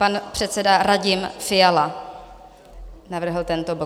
Pan předseda Radim Fiala navrhl tento bod.